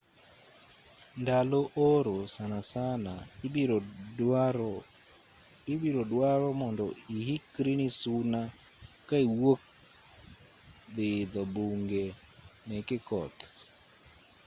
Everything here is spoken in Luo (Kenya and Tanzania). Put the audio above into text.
ndalo oro sanasana ibiro dwaro mondo ihikri ni suna ka iwuok dhi idho bunge meke koth